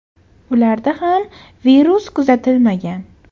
Ularda ham virus kuzatilmagan.